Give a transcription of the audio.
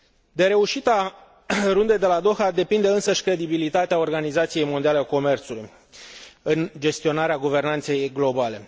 De reușita Rundei de la Doha depinde însăși credibilitatea Organizației Mondiale a Comerțului în gestionarea guvernanței globale.